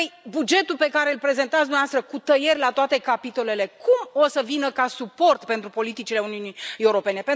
Bugetul pe care îl prezentați dumneavoastră, cu tăieri la toate capitolele, cum o să vină ca suport pentru politicile Uniunii Europene?